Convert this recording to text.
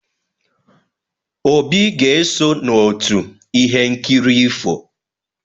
Obi ga-eso n'otu ihe nkiri ifo.